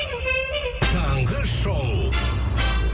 таңғы шоу